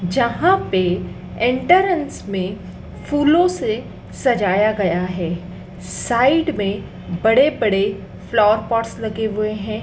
जहाँ पे एंट्रेंस में फूलों से सजाया गया है साइड में बड़े बड़े फ्लावर पॉट्स लगे हुए हैं।